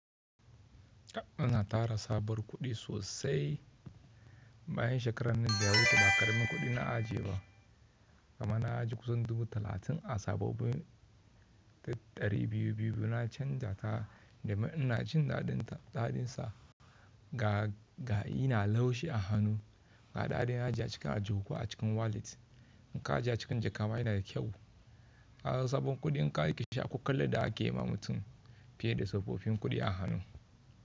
Kaf ana tara sa bar kuɗi sosai bayan shekarar nan da ya wuce da karamin kuɗi na ajiye ba. Ama na ajiye kusan dubu talatin a sabobin dari biyu-biyu na canja ta domun 'ina jin daɗinta dadin sa ga ina laushi a hannu. Ga ɗaɗin na ajiye cikin ajiye kuwa a cikin wallet in ka ajiye cikin jakka ma yana da kyau. Kaga sabon kuɗi in ka jeshi shi ko kallan da ake ma mutum fiye da tsofaffin kuɗi a hannu.